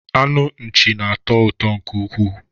Anụ nchi na-atọ ụtọ nke ukwuu